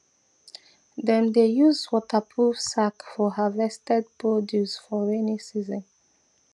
dem dey use waterproof sack for harvested produce for rainy season